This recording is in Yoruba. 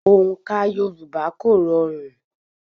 Òǹkà Yorùbá kò rọrùn.